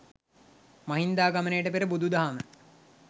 මහින්දාගමනයට පෙර බුදු දහම